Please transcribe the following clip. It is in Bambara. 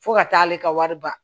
Fo ka taa ale ka wari ba